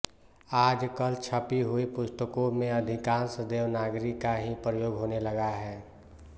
आजकल छपी हुई पुस्तकों में अधिकांश देवनागरी का ही प्रयोग होने लगा है